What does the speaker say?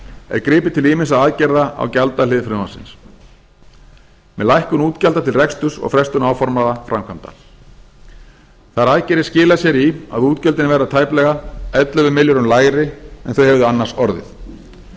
er gripið til ýmissa aðgerða á gjaldahlið frumvarpsins með lækkun útgjalda til reksturs og frestun áformaðra framkvæmda þær aðgerðir skila sér í að útgjöldin verða tæplega ellefu milljörðum lægri en þau hefðu annars orðið